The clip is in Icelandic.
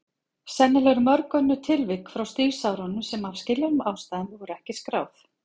Sennilega eru mörg önnur tilvik frá stríðsárunum sem af skiljanlegum ástæðum voru ekki skráð.